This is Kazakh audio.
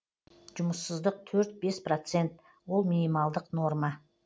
жұмыссыздық төрт бес процент ол минималдық норма